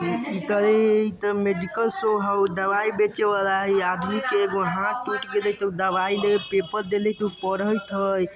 इ तो medical store हो दवाई बेचबे वाला है यह आदमी का एगो हाथ टूट ग्यौ पेपर देत हो तो पड़त हो|